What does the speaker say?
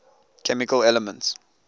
chemical elements